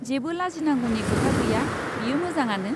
जेबो लाजिनांगौनि खोथा गैया, बेयो मोजाङानो।